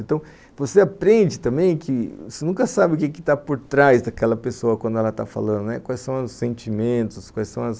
Então você aprende também que você nunca sabe o que está por trás daquela pessoa quando ela está falando, quais são os sentimentos, quais são as